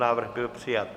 Návrh byl přijat.